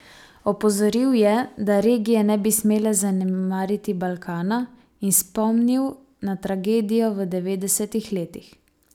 Opozoril je, da regije ne bi smele zanemariti Balkana, in spomnil na tragedijo v devetdesetih letih.